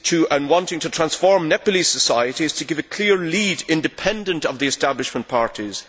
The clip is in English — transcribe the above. and wanting to transform Nepalese society is to give a clear lead independent of the establishment parties.